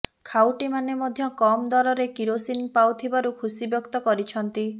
ଖାଉଟିମାନେ ମଧ୍ୟ କମ ଦରରେ କିରୋସିନି ପାଉଥିବାରୁ ଖୁସିବ୍ୟକ୍ତ କରିଛନ୍ତି